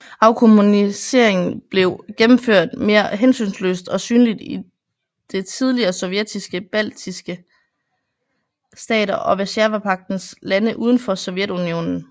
Afkommuniseringen blev gennemført meget mere hensynsløst og synligt i det tidligere Sovjetiske baltiske stater og Warszawapagtens lande uden for Sovjetunionen